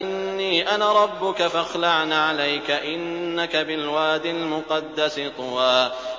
إِنِّي أَنَا رَبُّكَ فَاخْلَعْ نَعْلَيْكَ ۖ إِنَّكَ بِالْوَادِ الْمُقَدَّسِ طُوًى